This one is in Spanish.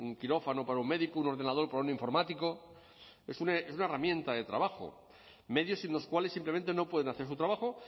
quirófano para un médico un ordenador para un informático es una herramienta de trabajo medios sin los cuales simplemente no pueden hacer su trabajo